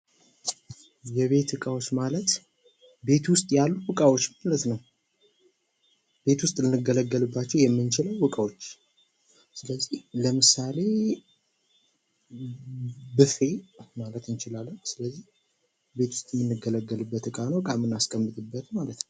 የቤት እቃዎች ማለት ቤት ዉስጥ ያሉ እቃዎች ማለት። ቤት ዉስጥ ልንገለገልባቸዉ የምንችል እቃዎች ስለዚህ ለምሳሌ ብፌ ልንል እንችላለን። ስለዚህ ቤት ዉስጥ የምንገለገልበት እቃ ነዉ። እቃ የምናስቀምጥበት ማለት ነዉ።